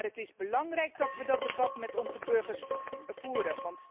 Maar het is belangrijk dat we dat debat met onze burgers voeren.